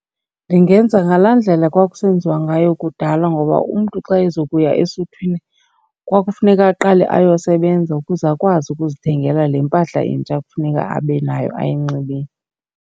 Ndingenza ngalaa ndlela kwakusenziwa ngayo kudala ngoba umntu xa ezokuya esuthwini kwakufuneka aqale ayosebenza ukuze akwazi ukuzithengela le mpahla intsha kufuneka abe nayo ayinxibile.